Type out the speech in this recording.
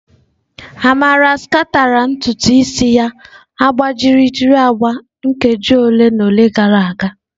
Amara sachara ntutu isi ya agbajiri agba nkeji ole na ole gara aga.